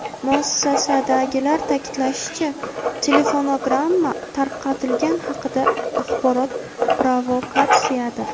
Muassasadagilar ta’kidlashicha, telefonogramma tarqatilgani haqidagi axborot provokatsiyadir.